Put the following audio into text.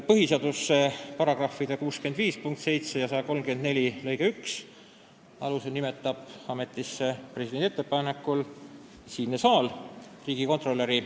Põhiseaduse § 65 punkti 7 ja § 134 lõike 1 alusel nimetab riigikontrolöri ametisse presidendi ettepanekul siinne saal.